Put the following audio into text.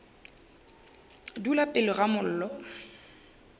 dula pele ga mollo o